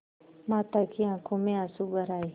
माता की आँखों में आँसू भर आये